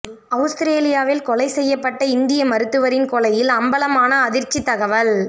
அவுஸ்திரேலியாவில் கொலை செய்யப்பட்ட இந்திய மருத்துவரின் கொலையில் அமம்பலமான அதிர்ச்சித் தகவல்